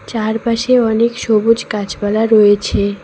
চারপাশে অনেক সবুজ গাছপালা রয়েছে।